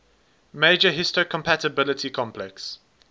major histocompatibility complex